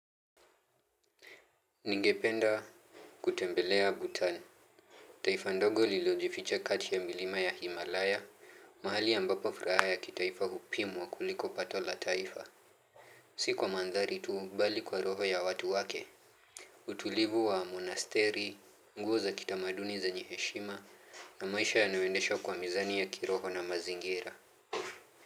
Ningependa kutembelea Butan, Taifa ndogo lilojificha kati ya milima ya Himalaya. Mahali ambapo furaha ya kitaifa hupimwa kuliko pato la taifa. Si kwa mandharitu bali kwa roho ya watu wake. Utulivu wa monasteri, nguo kitamaduni zenye heshima na maisha yanayendeshwa kwa mizani ya kiroho na mazingira.